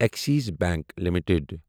Axis bank limited